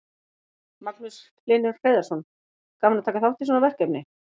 Magnús Hlynur Hreiðarsson: Gaman að taka þátt í svona verkefni?